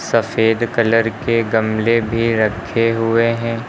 सफेद कलर के गमले भी रखे हुए हैं।